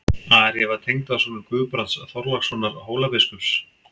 Ari var tengdasonur Guðbrands Þorlákssonar Hólabiskups.